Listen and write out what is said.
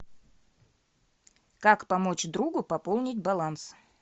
как помочь другу пополнить баланс